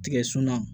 Tigɛsun na